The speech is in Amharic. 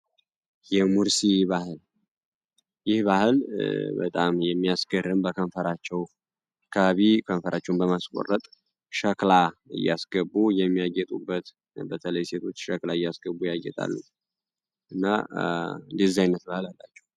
የሙርሲ ባህል ይህ ባህል በጣም የሚያስገርም በከንፈራቸው አካባቢ ከንፈራቸውን በማስቆረጥ ሸክላ እያስገቡ የሚያጌጡበት በተለይ ሴቶች ሸክላ እያስገቡ ያጌጣሉ እና ዲዛይነት ባህል አላቸው።